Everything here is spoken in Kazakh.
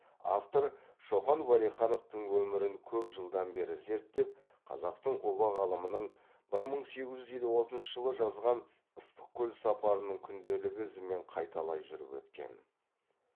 автор шоқан уәлихановтың өмірін көп жылдан бері зерттеп қазақтың ұлы ғалымының бір мың сегіз жүз елу алтыншы жылы жазған ыстықкөл сапарының күнделігі ізімен қайталай жүріп өткен